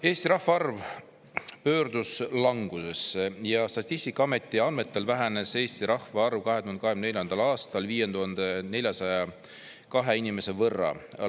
Eesti rahvaarv pöördus langusesse ja Statistikaameti andmetel vähenes Eesti rahvaarv 2024. aastal 5402 inimese võrra.